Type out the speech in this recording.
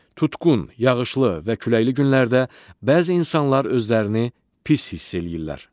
Tutqun, yağışlı və küləkli günlərdə bəzi insanlar özlərini pis hiss eləyirlər.